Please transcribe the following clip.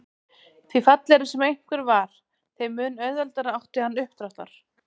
Því fallegri sem einhver var þeim mun auðveldara átti hann uppdráttar.